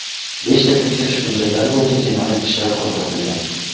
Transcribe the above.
Beshta tekshirish hujjatlari bo‘yicha jinoyat ishlari qo‘zg‘atilgan.